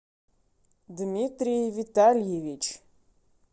дмитрий витальевич